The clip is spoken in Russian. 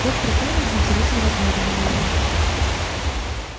доктор кэлвин с интересом разглядывала его